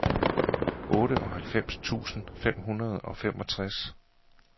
otteoghalvfems tusind fem hundrede og femogtres